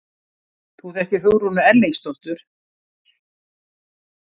Þú þekkir Hugrúnu Erlingsdóttur?